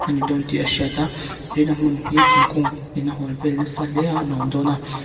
ani dawn tih a hriat a tin a hmun hi thingkung in a hual vel nasa hle a a nuam dawn a.